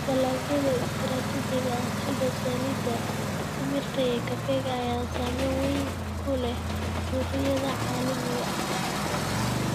Dalagyada istiraatiijiga ah sida saliidda timirta iyo kafeega ayaa saameyn weyn ku leh suuqyada caalamiga ah.